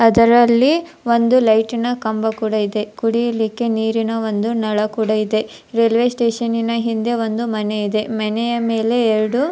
ಅದರಲ್ಲಿ ಒಂದು ಲೈಟಿನ ಕಂಬ ಕೂಡ ಇದೆ ಕುಡಿಲಿಕ್ಕೆ ನೀರಿನ ಒಂದು ನಳ ಕೂಡ ಇದೆ ರೈಲ್ವೆ ಸ್ಟೇಷನ್ ನ ಹಿಂದೆ ಒಂದು ಮನೆ ಇದೆ ಮನೆಯ ಮೇಲೆ ಎರಡು --